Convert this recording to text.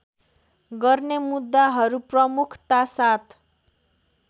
गर्ने मुद्दाहरू प्रमुखतासाथ